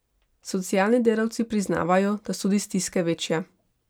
Socialni delavci priznavajo, da so tudi stiske večje.